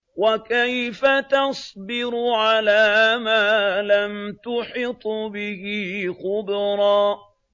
وَكَيْفَ تَصْبِرُ عَلَىٰ مَا لَمْ تُحِطْ بِهِ خُبْرًا